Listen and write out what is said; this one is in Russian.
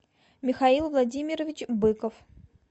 михаил владимирович быков